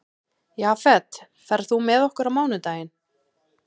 Jafet, ferð þú með okkur á mánudaginn?